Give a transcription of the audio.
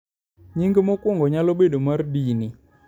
nying mokuongo nyalo bedo mar dini